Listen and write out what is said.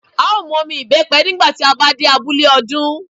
A ó mu omi ìbẹ́pe nígbà tí a bá dé abúlé, ó dún.